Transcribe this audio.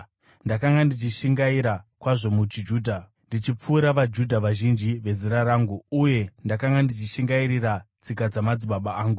Ndakanga ndichishingaira kwazvo muchiJudha ndichipfuura vaJudha vazhinji vezera rangu uye ndakanga ndichishingairira tsika dzamadzibaba angu.